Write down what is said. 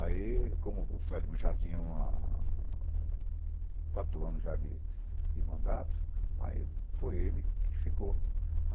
Aí, como o já tinha quatro anos de de mandato, aí foi ele que ficou.